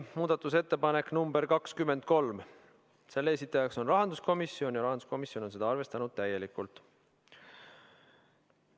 Muudatusettepanek nr 23, selle on esitanud rahanduskomisjon ja juhtivkomisjon on arvestanud seda täielikult.